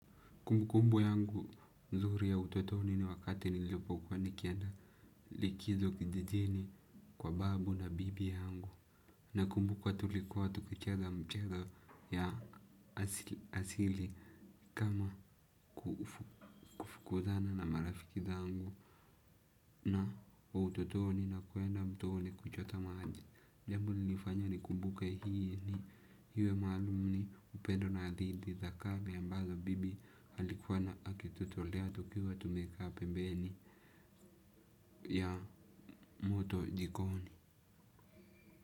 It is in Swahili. Kumbu kumbu yangu mzuri ya utotoni ni wakati nilipo kuwa nikienda likizo kijijini kwa babu na bibi yangu. Na kumbuka tulikuwa tukicheza mchezo ya asili kama kufukuzana na marafiki zangu na utotoni na kuenda mtooni kuchota majini. Jambo linifanya ni kumbuke hii ni iwe maalumu ni upendo na adhidi za kali ambazo bibi alikuwa ana akitutolea tukiwa tumekaa pembeni ya moto jikoni.